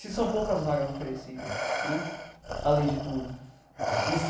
Se são poucas vagas oferecidas né, além de tudo e se.